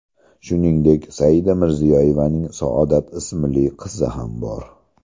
Shuningdek, Saida Mirziyoyevaning Saodat ismli qizi ham bor.